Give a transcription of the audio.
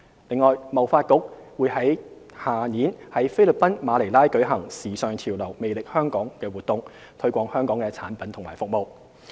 此外，貿發局將於來年在菲律賓馬尼拉舉行"時尚潮流˙魅力香港"活動，推廣香港的產品和服務。